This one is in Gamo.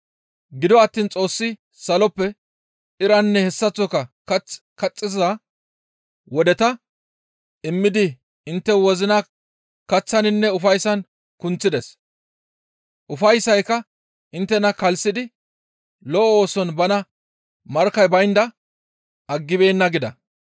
Gido attiin Xoossi saloppe iranne hessaththoka kaththi kaxxiza wodeta immidi intte wozina kaththaninne ufayssan kunththides; ufayssaaka inttena kalssidi lo7o ooson bana markkay baynda aggibeenna» gida.